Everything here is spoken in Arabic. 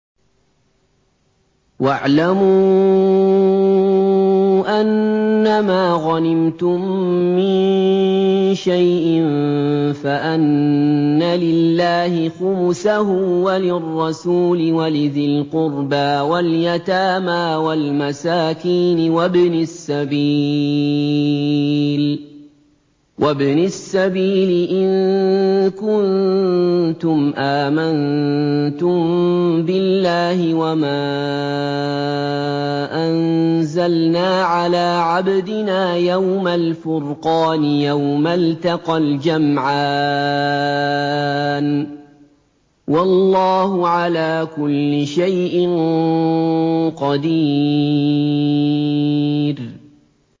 ۞ وَاعْلَمُوا أَنَّمَا غَنِمْتُم مِّن شَيْءٍ فَأَنَّ لِلَّهِ خُمُسَهُ وَلِلرَّسُولِ وَلِذِي الْقُرْبَىٰ وَالْيَتَامَىٰ وَالْمَسَاكِينِ وَابْنِ السَّبِيلِ إِن كُنتُمْ آمَنتُم بِاللَّهِ وَمَا أَنزَلْنَا عَلَىٰ عَبْدِنَا يَوْمَ الْفُرْقَانِ يَوْمَ الْتَقَى الْجَمْعَانِ ۗ وَاللَّهُ عَلَىٰ كُلِّ شَيْءٍ قَدِيرٌ